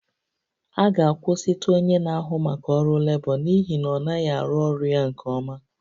A ga-akwụsịtụ onye na-ahụ maka ọrụ lebọ n'ihi na ọ naghị arụ ọrụ ya nke ọma